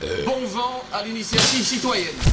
Bon vent à l'initiative citoyenne!